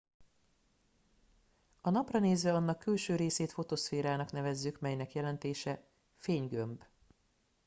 a napra nézve annak külső részét fotoszférának nevezzük amelynek jelentése fénygömb